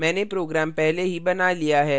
मैंने program पहले ही बना लिया है